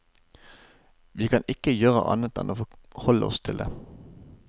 Vi kan ikke gjøre annet enn å forholde oss til det.